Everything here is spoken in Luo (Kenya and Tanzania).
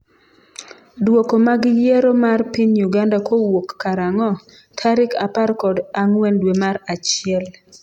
dwoko mag yiero mar piny Uganda kowuok karang'o? tarik apar kod ang'wen dwe mar achiel